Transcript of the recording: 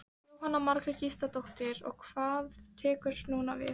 Jóhanna Margrét Gísladóttir: Og hvað tekur núna við?